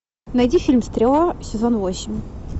найди фильм стрела сезон восемь